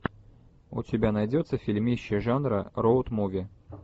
у тебя найдется фильмище жанра роуд муви